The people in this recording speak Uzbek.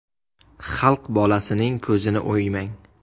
Xalq bolasining ko‘zini o‘ymang.